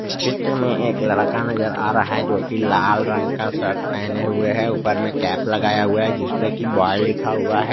इस चित्र में एक लड़का नजर आ रहा है जो कि लाल रंग का शर्ट पहने हुए है ऊपर में कैप लगाया हुआ है जिस पे कि बॉय लिखा हुआ है।